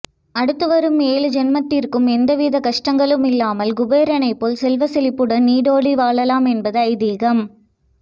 அடுத்து வரும் ஏழு ஜென்மத்திற்கும் எந்தவிதமான கஷ்டங்களும் இல்லாமல் குபேரனைப் போல் செல்வச் செழிப்புடன் நீடூழி வாழலாம் என்பது ஐதீகம்